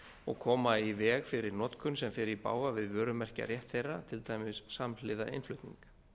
og koma í veg fyrir notkun sem fer í bága við vörumerkjarétt þeirra til dæmis samhliða innflutning